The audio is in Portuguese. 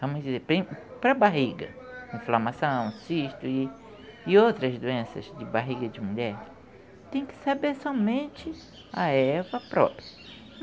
Vamos dizer, para a barriga, inflamação, cisto e outras doenças de barriga de mulher, tem que saber somente a erva própria.